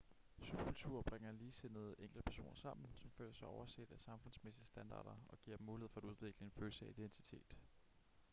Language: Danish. subkulturer bringer ligesindede enkeltpersoner sammen som føler sig overset af samfundsmæssige standarder og giver dem mulighed for at udvikle en følelse af identitet